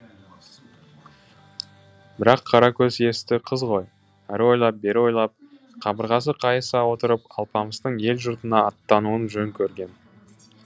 бірақ қаракөз есті қыз ғой әрі ойлап бері ойлап қабырғасы қайыса отырып алпамыстың ел жұртына аттануын жөн көрген